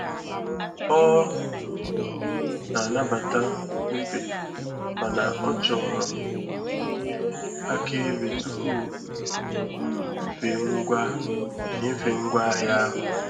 Ọ um na-anabata mbufe mana ọ chọrọ ihe akaebe tupu um enyefee ngwa enyefee ngwa ahịa ahụ.